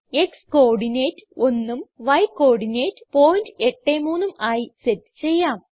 X coordinate 100ഉം Y coordinate 083ഉം ആയി സെറ്റ് ചെയ്യാം